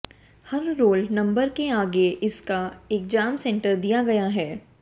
हर roll number के आगे उसका एग्जाम सेंटर दिया गया है